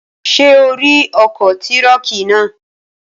Ṣé o rí ọkọ̀ tírọ̀kì náà?